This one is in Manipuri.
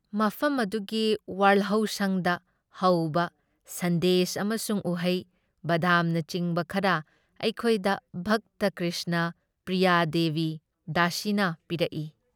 ꯃꯐꯝ ꯑꯗꯨꯒꯤ ꯋꯥꯜꯍꯧꯁꯪꯗ ꯍꯧꯕ ꯁꯟꯗꯦꯁ ꯑꯃꯁꯨꯡ ꯎꯍꯩ, ꯕꯥꯗꯥꯝꯅꯆꯤꯡꯕ ꯈꯔ ꯑꯩꯈꯣꯏꯗ ꯚꯛꯇ ꯀ꯭ꯔꯤꯁꯅ ꯄ꯭ꯔꯤꯌꯥ ꯗꯦꯕꯤ ꯗꯥꯁꯤꯅ ꯄꯤꯔꯛꯏ ꯫